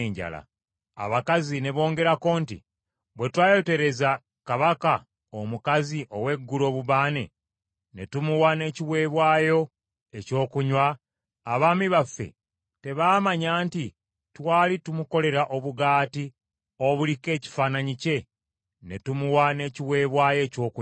Abakazi ne bongerako nti, “Bwe twayotereza kabaka omukazi ow’eggulu obubaane ne tumuwa n’ekiweebwayo ekyokunywa, abaami baffe tebaamanya nti twali tumukolera obugaati obuliko ekifaananyi kye ne tumuwa n’ekiweebwayo ekyokunywa?”